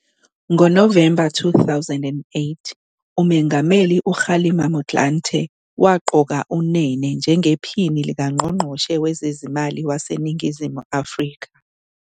NgoNovemba 2008 uMengameli uKgalema Motlanthe waqoka uNene njengePhini likaNgqongqoshe Wezezimali waseNingizimu Afrika.